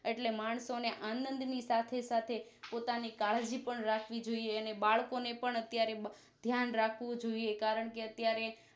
એટલે માણસો ને આનદ ની સાથે સાથે પોતાની કાળજી પણ રાખવી જોઈએ અને બાળકો ને પણ અત્યારે ધ્યાન રાખવું જોઈએ કારણકે અત્યારે